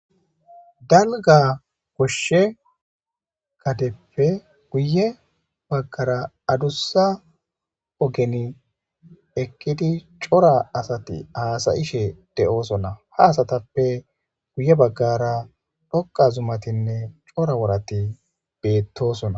Dalga goshe gadeppe guye bagara adusa ogen eqid cora asat hasa'ashe de'osona, ha asatappe guye bagara dhoqa zumatinne cora worati betosona.